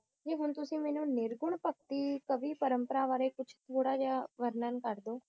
मेरे कॉल कड़ी कवी परम्पराः वराय किया ऑनलाइन पहरड़े हो हांजी